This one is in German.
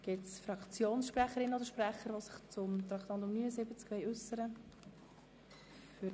Gibt es Fraktionssprecherinnen oder -sprecher, die sich zu Traktandum 79 äussern möchten?